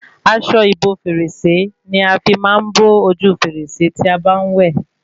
Aṣọ ìbo fèrèsé ní a fí máa ń bo ojú fèrèsé tí a bá n wẹ